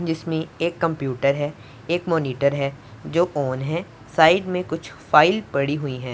जिसमें एक कंप्यूटर है एक मॉनिटर है जो ऑन है साइड में कुछ फाइल पड़ी हुई हैं।